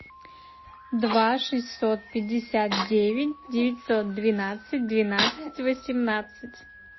два шестьсот пятьдесят девять девятьсот двенадцать двенадцать восемнадцать